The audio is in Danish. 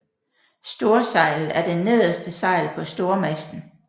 Storsejlet er det nederste sejl på stormasten